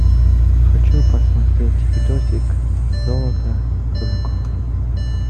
хочу посмотреть видосик золото дураков